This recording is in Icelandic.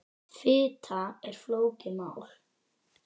Fita er flókið mál.